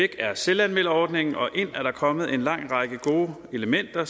er selvanmelderordningen og ind er der kommet en lang række gode elementer